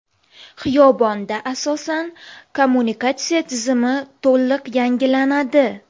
Xiyobonda asosan kommunikatsiya tizimi to‘liq yangilanadi.